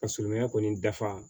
Ka sirimɛ kɔni dafa